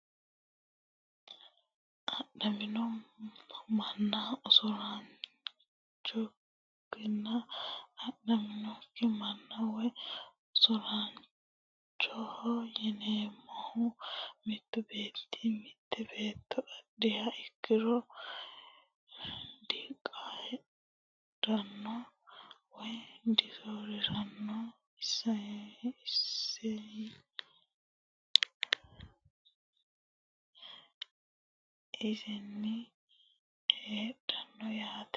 Adhamino manna usuraanchokonne adhamino manna woyi usuraanchoho yineemohu mittu beeti mite beeto adhiha ikiro diqayadhano woyi disoorirano iseyi ledola heerano yaate.